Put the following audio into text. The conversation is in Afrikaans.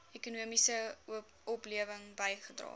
ekonomiese oplewing bygedra